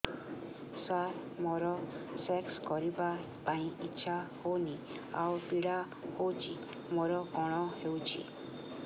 ସାର ମୋର ସେକ୍ସ କରିବା ପାଇଁ ଇଚ୍ଛା ହଉନି ଆଉ ପୀଡା ହଉଚି ମୋର କଣ ହେଇଛି